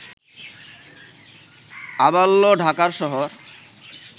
আবাল্য ঢাকার শহর